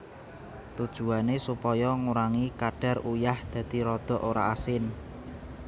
Tujuwané supaya ngurangi kadar uyah dadi rada ora asin